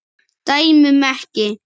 Dæmum ekki.